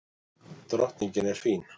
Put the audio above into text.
Drottningin er fín.